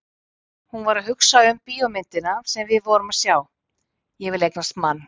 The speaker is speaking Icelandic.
Hún var að hugsa um bíómyndina sem við vorum að sjá, Ég vil eignast mann!